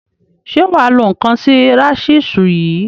Ṣe wà á lo ǹnkan sí rasísú yìí?